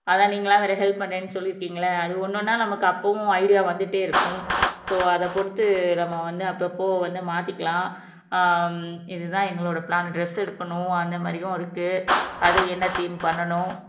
அதான் நீங்க எல்லாம் வேற ஹெல்ப் பண்றேன்னு சொல்லி இருக்கீங்கல்ல அது ஒன்னொன்னா நமக்கு அப்பவும் ஐடியா வந்துட்டே இருக்கும் சோ அத பொறுத்து நம்ம வந்து அப்பப்போ வந்து மாத்திக்கலாம் ஆஹ் இதுதான் எங்களோட பிளான் டிரஸ் எடுக்கணும் அந்த மாதிரியும் இருக்கு அது என்ன தீம் பண்ணணும்